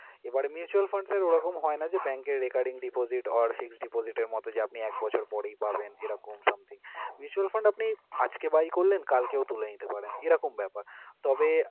এবারে mutual fund sir ওরকম হয়না যে, bank এর recurring deposit or fixed deposit এর মতো যে আপনি এক বছর পরেই পাবেন এরকম somethingn mutual fund আপনি আজকে buy করলেন কালকেও তুলে নিতে পারেন এরকম ব্যাপার। তবে